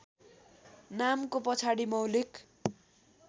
नामको पछाडि मौलिक